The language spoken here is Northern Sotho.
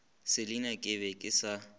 selina ke be ke sa